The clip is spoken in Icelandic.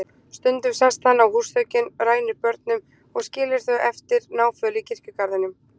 Stundum sest hann á húsþökin, rænir börnunum og skilur þau eftir náföl í kirkjugarðinum.